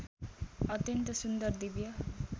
अत्यन्त सुन्दर दिव्य